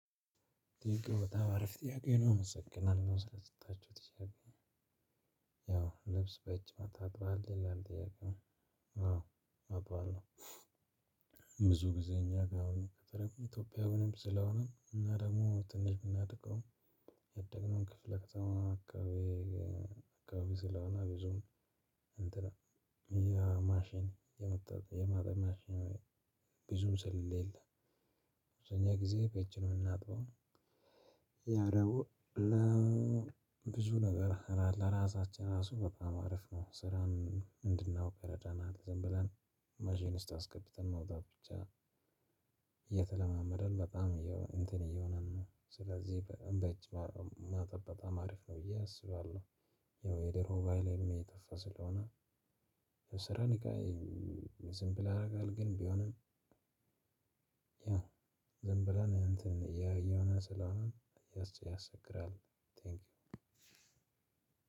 ጥያቄው በጣም አረፍተ ጥያቄ ነው አመሰግናለሁ ስለሰጠችሁት ጥያቄ ነው። ያው ልብስ በእጅ ታጥባለህ ይላል ጥያቄው? አዎ አጥባለሁ። ብዙ ጊዜ እኛ ጋር አሁን በተለይ ኢትዮጵያዊ ምንም ስለሆነ እና ደግሞ ትንሽ ብናጠቃው። ያደግነውን ክፍለ ከተማ አካባቢ አካባቢ ስለሆነ ብዙም እንትን ያ ማሽን የመጣው ማሽን ብዙም ስለሌለ። በእኛ ጊዜ የምናጥበው በእጅ ነው። ያደግሞ ለብዙ ነገር ለራሳችን ራሱ በጣም አሪፍ ነው ስራን እንድናውቅ ይረዳናል። ዝም ብለን ማሽን ውስጥ አስገብተን መውጣት ብቻ። እየተለማመደን በጣም እንትን እየሆነን ነው። ስለዚህ በእጅ ማጠብ በጣም አሪፍ ነው። ብዬ አስባለሁ። ያው የደሮ ባህልም እየጠፋ ስለሆነ። የስራ ንቃይ ዝም ብለን ያደርጋል ግን ቢሆንም። ያ ዝም ብለን እንትን እያየነው ስለሆነ ያስቸግራል።